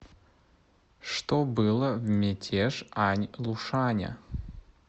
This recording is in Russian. что было в мятеж ань лушаня